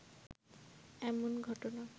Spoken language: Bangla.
এমন ঘটনা